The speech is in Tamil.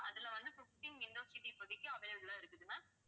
அதில வந்து fifteen window seat இப்போதைக்கு available ஆ இருக்குது ma'am